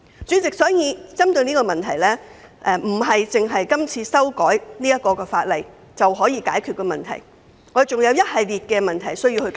主席，有關問題並非單憑是次修改法例的工作便可獲得解決，還有一系列事宜需要處理。